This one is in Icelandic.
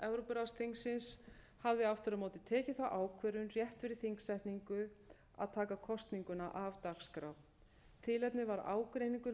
evrópuráðsþingsins hafði aftur á móti tekið þá ákvörðun rétt fyrir þingsetningu að taka kosninguna af dagskrá tilefnið var ágreiningur